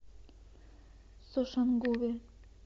сошангуве